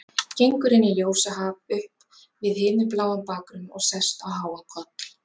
Gengur inn í ljósahaf upp við himinbláan bakgrunn og sest á háan koll.